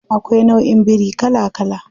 Akwai nauʼin biri kala kala.